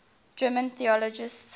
german theologians